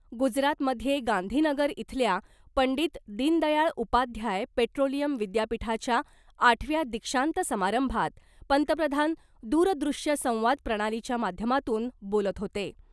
गुजरातमध्ये गांधीनगर इथल्या पंडित दीनदयाळ उपाध्याय पेट्रोलियम विद्यापीठाच्या आठव्या दीक्षांत समारंभात पंतप्रधान दूरदृश्य संवाद प्रणालीच्या माध्यमातून बोलत होते .